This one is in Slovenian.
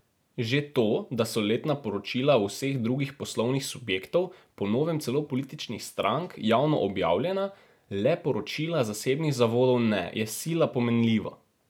Že to, da so letna poročila vseh drugih poslovnih subjektov, po novem celo političnih strank, javno objavljena, le poročila zasebnih zavodov ne, je sila pomenljivo.